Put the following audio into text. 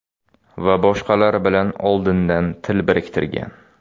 va boshqalar bilan oldindan til biriktirgan.